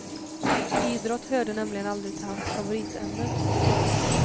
Idrott hörde nämligen aldrig till hans favoritämnen.